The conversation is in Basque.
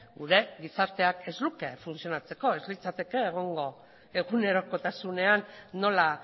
gure gizarteak ez luke funtzionatzeko ez litzateke egongo egunerokotasunean nola